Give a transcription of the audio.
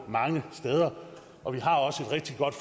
mange steder og vi har også et rigtig godt